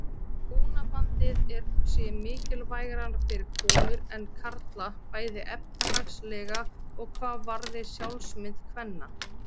Hjónabandið sé mikilvægara fyrir konur en karla bæði efnahagslega og hvað varði sjálfsmynd kvenna.